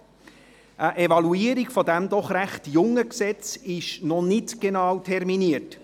Eine Evaluation dieses doch recht jungen Gesetzes ist noch nicht genau terminiert.